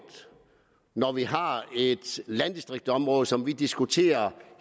når vi har et landdistriktområde som vi diskuterer